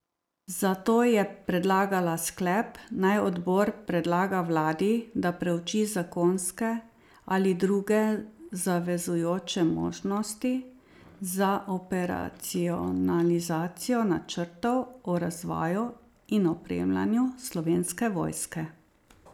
Zato je predlagala sklep, naj odbor predlaga vladi, da preuči zakonske ali druge zavezujoče možnosti za operacionalizacijo načrtov o razvoju in opremljanju Slovenske vojske.